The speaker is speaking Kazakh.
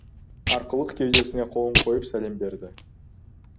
арқылық кеудесіне қолын қойып сәлем берді